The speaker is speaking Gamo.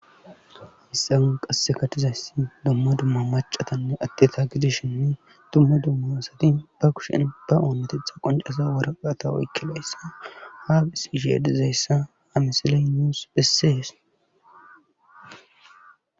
Hayissan qasseka dizayssi dumma dumma macatanne adeta gidishin dumma dumma asati ba kushen ba oontetha qoncasa woraqata woykkilayssa haafis isheedizayssa amisiley nuus bessees